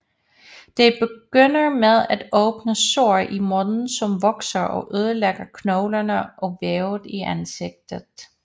Det begynder med et åbent sår i munden som vokser og ødelægger knoglerne og vævet i ansigtet